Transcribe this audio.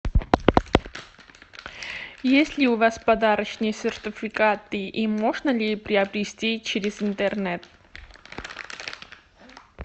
есть ли у вас подарочные сертификаты и можно ли приобрести через интернет